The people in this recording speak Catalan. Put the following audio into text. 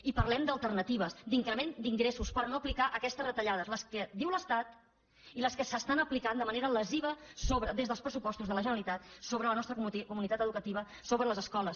i parlem d’alternatives d’increment d’ingressos per no aplicar aquestes retallades les que diu l’estat i les que s’apliquen de manera lesiva des dels pressupostos de la generalitat sobre la nostra comunitat educativa sobre les escoles